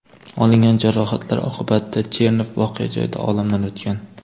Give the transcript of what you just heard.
Olingan jarohatlar oqibatida Chernov voqea joyida olamdan o‘tgan.